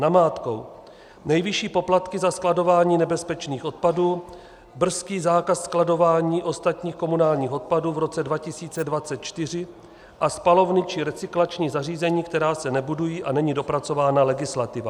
Namátkou: Nejvyšší poplatky za skladování nebezpečných odpadů, brzký zákaz skladování ostatních komunálních odpadů v roce 2024 a spalovny či recyklační zařízení, která se nebudují, a není dopracována legislativa.